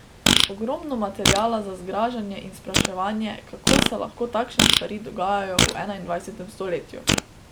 Ogromno materiala za zgražanje in spraševanje, kako se lahko takšne stvari dogajajo v enaindvajsetem stoletju.